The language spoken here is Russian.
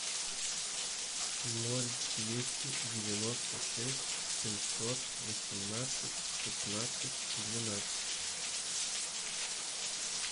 ноль двести девяносто шесть семьсот восемнадцать шестнадцать двенадцать